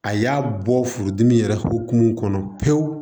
A y'a bɔ furudimi yɛrɛ hukumu kɔnɔ pewu